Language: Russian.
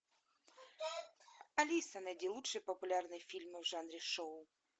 алиса найди лучшие популярные фильмы в жанре шоу